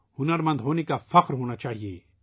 ہنر مند ہونے پر فخر کرنا چاہیئے